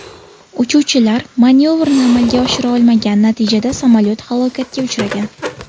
Uchuvchilar manyovrni amalga oshira olmagan, natijada samolyot halokatga uchragan.